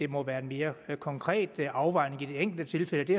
må være en mere konkret afvejning i det enkelte tilfælde det